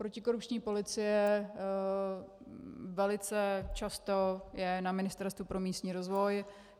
Protikorupční policie velice často je na Ministerstvu pro místní rozvoj.